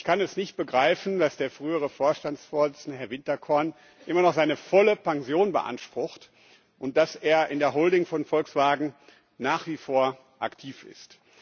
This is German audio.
Ich kann nicht begreifen, dass der frühere Vorstandsvorsitzende, Herr Winterkorn, immer noch seine volle Pension beansprucht und dass er in der Holding von Volkswagen nach wie vor aktiv ist.